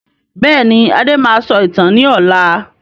Bẹ́ẹ̀ni, Adé máa sọ ìtàn ni ọ̀la.